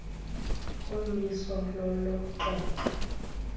umiso lolo xoxo